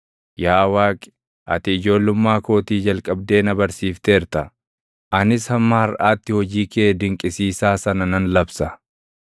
Yaa Waaqi, ati ijoollummaa kootii jalqabdee na barsiifteerta; anis hamma harʼaatti hojii kee dinqisiisaa sana nan labsa.